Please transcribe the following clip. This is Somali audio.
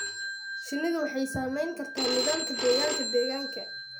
Shinnidu waxay saamayn kartaa nidaamka deegaanka deegaanka.